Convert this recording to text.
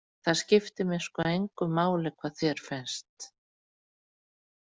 Það skiptir mig sko engu máli hvað þér finnst.